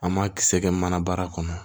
An m'a kisɛ kɛ mana baara kɔnɔ